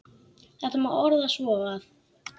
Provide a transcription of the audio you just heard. Þetta má orða svo að